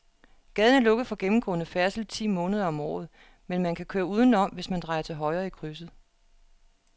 Gaden er lukket for gennemgående færdsel ti måneder om året, men man kan køre udenom, hvis man drejer til højre i krydset.